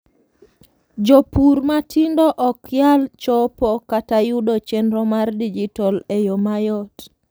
jopur matindo okyal chopo kata yudo chenro mar dijital e yoo mayot